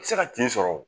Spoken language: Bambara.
Se ka tin sɔrɔ